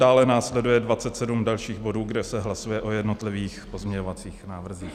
Dále následuje 27 dalších bodů, kde se hlasuje o jednotlivých pozměňovacích návrzích.